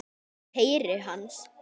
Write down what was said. Ég heyri hans.